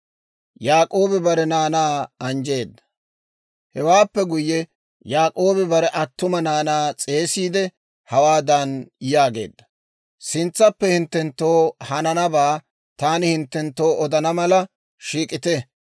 Hewaappe guyye, Yaak'oobi bare attuma naanaa s'eesissiide hawaadan yaageedda; «Sintsappe hinttenttoo hananabaa taani hinttenttoo odana mala shiik'ite.»